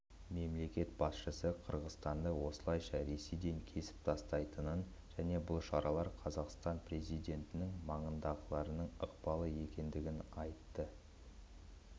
мемлекет басшысы қырғызстанды осылайша ресейден кесіп тастайтынын және бұл шаралар қазақстан президентінің маңындағылардың ықпалы екенін айтты